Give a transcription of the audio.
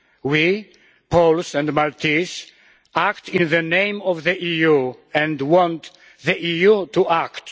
We Poles and Maltese act in the name of the EU and want the EU to act.